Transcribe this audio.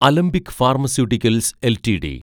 Alembic Pharmaceuticals LTD